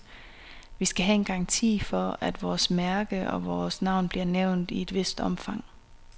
Vi skal have en garanti for, at vores mærke og vores navn bliver nævnt i et vist omfang.